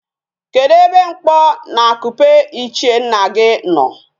Kedu ebe mkpo na akupe ichie nna gi no?